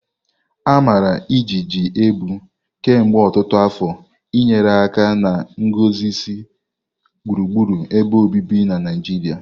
Amara ijiji ebu kemgbe ọtụtụ afọ nyere aka na nguzozi gburugburu ebe obibi na Naijiria.